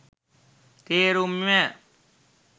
තේරුම් ය.